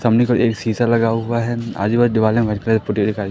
सामने की ओर एक शीशा लगा हुआ है आजू बाजू दिवाले व्हाइट कलर की पुती हुई दिखाई--